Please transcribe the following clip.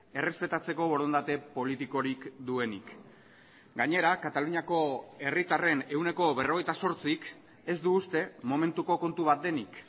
errespetatzeko borondate politikorik duenik gainera kataluniako herritarren ehuneko berrogeita zortzik ez du uste momentuko kontu bat denik